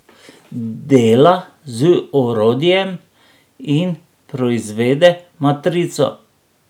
Dela z orodjem in proizvede matrico.